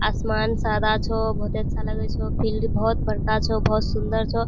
आसमान सारा छो बहुत ही अच्छा लगे छो फील्ड बहुत ही बड़का छो बहुत सुन्दर छो।